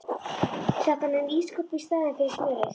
Setti hann inn í ísskáp í staðinn fyrir smjörið.